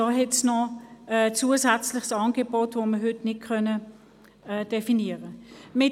Da gibt es ein zusätzliches Angebot, das man heute nicht definieren kann.